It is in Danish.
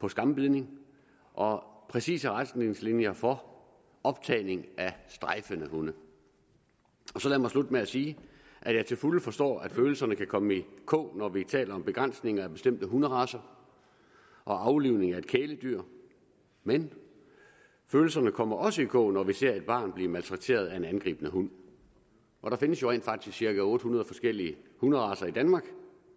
på skambidning og præcise retningslinjer for optagning af strejfende hunde så lad mig slutte med at sige at jeg til fulde forstår at følelserne kan komme i kog når vi taler om begrænsning af bestemte hunderacer og aflivning af et kæledyr men følelserne kommer også i kog når vi ser et barn blive maltrakteret af en angribende hund der findes jo rent faktisk cirka otte hundrede forskellige hunderacer i danmark